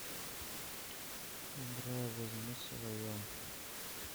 играй возьми свое